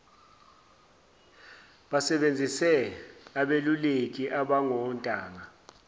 basebenzise abeluleki abangontanga